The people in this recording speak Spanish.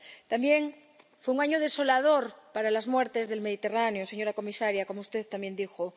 También fue un año desolador por las muertes del Mediterráneo, señora comisaria, como usted también dijo.